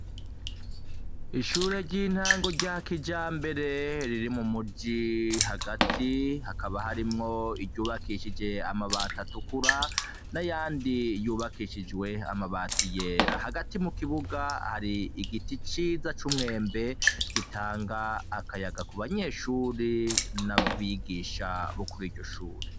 Ishure ry'intangu rya kija mbere riri mu muji hagati, hakaba harimwo iryubakishije amabati atukura n'ayandi yubakishijwe amabati yera, hagati mu kibuga hari igiti ciza c'umwembe gitanga akayaga ku banyeshuri n’abigisha bokuri iryo shuri.